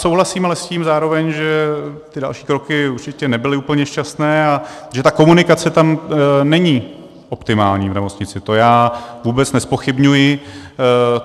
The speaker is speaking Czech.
Souhlasím ale s tím zároveň, že ty další kroky určitě nebyly úplně šťastné a že ta komunikace tam není optimální, v nemocnici, to já vůbec nezpochybňuji.